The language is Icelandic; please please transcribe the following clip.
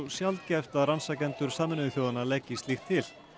sjaldgæft að rannsakendur Sameinuðu þjóðanna leggi slíkt til